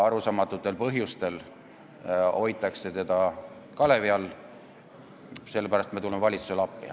Arusaamatutel põhjustel on seda aga kalevi all hoitud ja sellepärast me tuleme valitsusele appi.